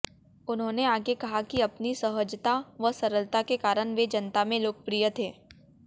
उन्होंने आगे कहा कि अपनी सहजता व सरलता के कारण वे जनता में लोकप्रिय थे